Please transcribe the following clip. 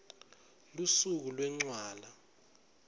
lusuku lwencwala